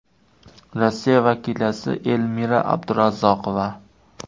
Rossiya vakilasi Elmira Abdurazzoqova.